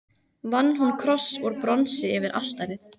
Vann hún kross úr bronsi yfir altarið.